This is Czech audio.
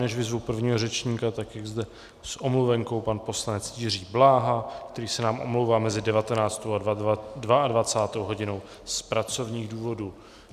Než vyzvu prvního řečníka, tak je zde s omluvenkou pan poslanec Jiří Bláha, který se nám omlouvá mezi 19. a 22. hodinou z pracovních důvodů.